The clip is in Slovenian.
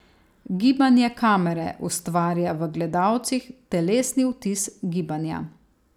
Gibanje kamere ustvarja v gledalcih telesni vtis gibanja.